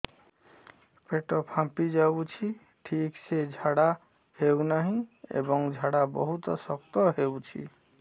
ପେଟ ଫାମ୍ପି ଯାଉଛି ଠିକ ସେ ଝାଡା ହେଉନାହିଁ ଏବଂ ଝାଡା ବହୁତ ଶକ୍ତ ହେଉଛି